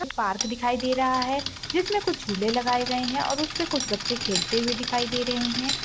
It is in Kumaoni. एक पार्क दिखाई दे रहा है जिसमे कुछ झूले लगाए गाए हैं और उसपे कुह बच्चे खेलते हुए दिखाई दे रहें हैं ।